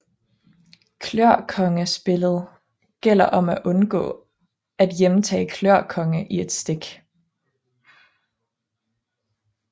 Klør konge Spillet gælder om at undgå at hjemtage klør konge i et stik